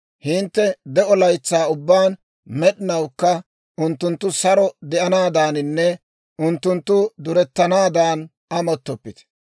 Hintte de'o laytsaa ubbaan med'inawukka unttunttu saro de'anaadaaninne unttunttu durettanaadan amottoppite.